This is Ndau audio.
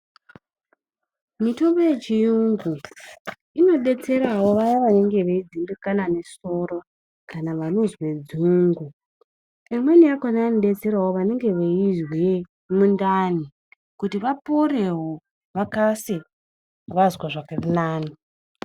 Mitombo yechiyungu ino detserawo vaya vanenge vei dhindikana ne soro kana vanozwe dzungu amweni akona ano detserawo vanenge veizwe mundani kuti vaporewo vakase vazwa zviri nani.